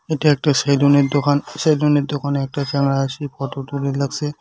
এইটা একটা সেলুন এর দোকান সেলুন এর দোকানে একটা চ্যাংড়া আছে ফটো তুলে লাগসে।